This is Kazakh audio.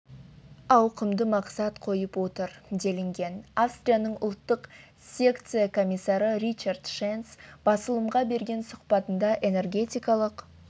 ауқымды мақсат қойып отыр делінген австрияның ұлттық секция комиссары ричард шенц басылымға берген сұхбатында энергетикалық